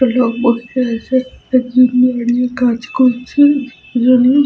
দাঁড়িয়ে কাজ করছেন।